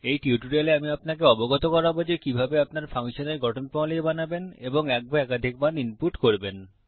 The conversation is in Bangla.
এই টিউটোরিয়ালে আমি আপনাকে অবগত করাব যে কিভাবে আপনার ফাংশন এর গঠন প্রণালী বানাবেন এবং কিভাবে এক বা একাধিক মান ইনপুট করবেন